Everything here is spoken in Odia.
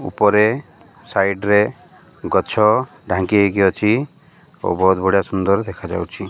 ପରେ ସାଇଡ ରେ ଗଛ ଢାଙ୍କି ହେଇକି ଅଛି ଓ ବହୁତ ବଢିଆ ସୁନ୍ଦର ଦେଖାଯାଉଛି।